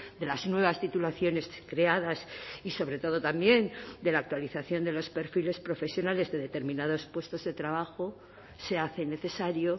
de las nuevas titulaciones creadas y sobre todo también de la actualización de los perfiles profesionales de determinados puestos de trabajo se hace necesario